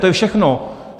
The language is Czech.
To je všechno.